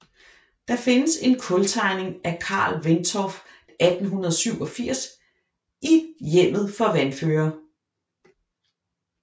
Der findes en kultegning af Carl Wentorf 1887 i Hjemmet for Vanføre